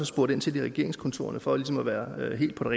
spurgt ind til i regeringskontorerne for ligesom at være helt på